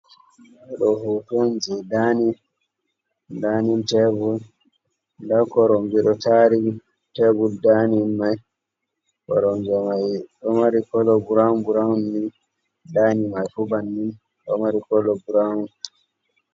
Footooji danin, danin teebur ndaa koromje ɗo taari tebur daanin mai koronje mai do mari kolo bround broun ni daanin mai fuu bannin ɗo mari kolo brown.